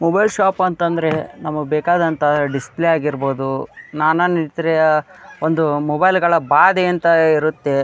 Mobile shop ಅಂತ ಅಂದ್ರೆ ನಮ್ಮ ಬೇಕಾದಂತಹ ಡಿಸ್ ಪ್ಲೇ ಆಗಿರಬಹುದು ನಾನಾ ನಿತ್ರಿಯ ಒಂದು ಮೊಬೈಲ್ ಗಳ ಬದೆ ಅಂತ ಇರುತ್ತೆ.